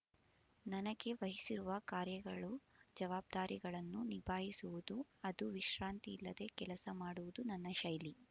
ನನಗೆ ವಹಿಸಿರುವ ಕಾರ್ಯಗಳು ಜವಾಬ್ದಾರಿಗಳನ್ನು ನಿಭಾಯಿಸುವುದು ಅದು ವಿಶ್ರಾಂತಿ ಇಲ್ಲದೆ ಕೆಲಸ ಮಾಡುವುದು ನನ್ನ ಶೈಲಿ